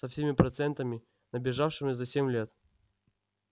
со всеми процентами набежавшими за семь лет